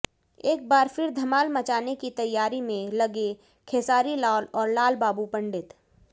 एक बार फिर धमाल मचाने की तैयारी में लगे खेसारीलाल और लालबाबू पंडित